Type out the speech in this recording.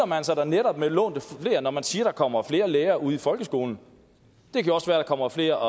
man sig da netop med lånte fjer når man siger at der kommer flere lærere ude i folkeskolen det kan også være der kommer flere